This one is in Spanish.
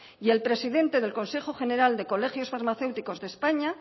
y el presidente del consejo general de colegios farmacéuticos de españa